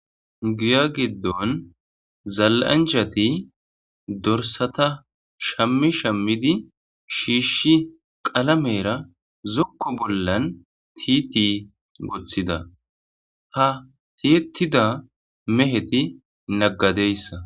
Guya giddon zalanjati dorsata shammi shammidi shiishshi qalamera zokko bollan tiiti goththida hatiyettida meheti naggadeyssa.